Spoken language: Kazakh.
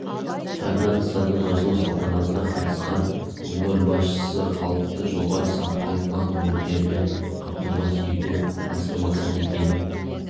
жаңа нысанныңашылу салтанатына қатысқан өңір басшысы халықты жоғары сапалы нан өнімдерімен қамтамасыз ету басты мақсат екенін